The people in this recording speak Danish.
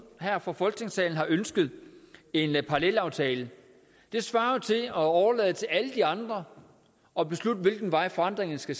her fra folketingssalen har ønsket en parallelaftale svarer det til at overlade til alle de andre at beslutte hvilken vej forandringerne skal